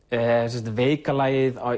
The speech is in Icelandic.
er sem sagt veika lagið